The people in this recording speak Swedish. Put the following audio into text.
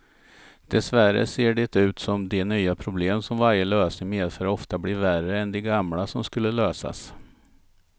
Dessvärre ser det ut som de nya problem som varje lösning medför ofta blir värre än de gamla som skulle lösas.